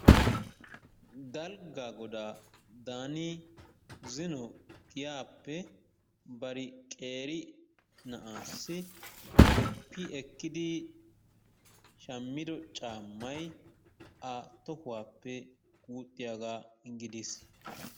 Dalggaa godaa daani zino giyaappe qeeri na'aassi qoppi ekkidi shammido caammay a tohuwappe guuxxiyagaa gidis.